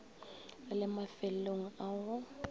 re le mafelong a go